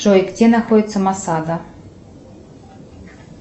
джой где находится масада